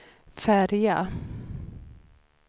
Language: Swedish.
färja